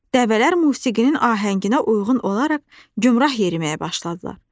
Dəvələr musiqinin ahənginə uyğun olaraq gümrah yeriməyə başladılar.